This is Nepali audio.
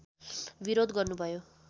विरोध गर्नुभयो